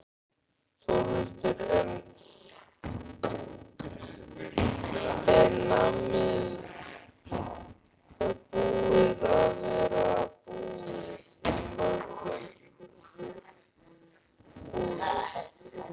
Þórhildur: Er nammið búið að vera búið í mörgum búðum?